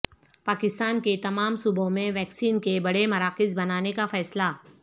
پاکستان کے تمام صوبوں میں ویکسین کے بڑے مراکز بنانے کا فیصلہ